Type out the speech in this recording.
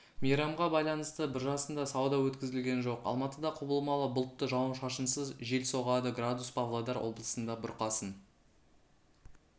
мейрамға байланысты биржасында сауда өткізілген жоқ алматыда құбылмалы бұлтты жауын-шашынсыз жел соғады градус павлодар облысында бұрқасын